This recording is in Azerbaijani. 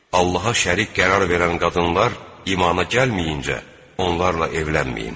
Allaha şərik qərar verən qadınlar imana gəlməyincə onlarla evlənməyin.